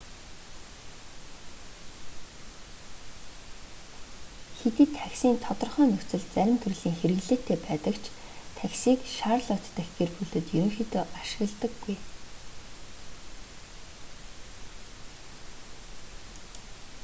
хэдий такси нь тодорхой нөхцөлд зарим төрлийн хэрэглээтэй байдаг ч таксиг шарлотт дахь гэр бүлүүд ерөнхийдөө ашигладаггүй